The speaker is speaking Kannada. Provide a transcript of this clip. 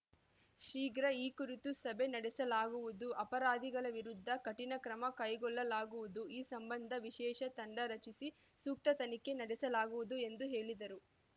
ಶೀಘ್ರ ಈ ಕುರಿತು ಸಭೆ ನಡೆಸಲಾಗುವುದು ಅಪರಾಧಿಗಳ ವಿರುದ್ಧ ಕಠಿಣ ಕ್ರಮ ಕೈಗೊಳ್ಳಲಾಗುವುದು ಈ ಸಂಬಂಧ ವಿಶೇಷ ತಂಡ ರಚಿಸಿ ಸೂಕ್ತ ತನಿಖೆ ನಡೆಸಲಾಗುವುದು ಎಂದು ಹೇಳಿದರು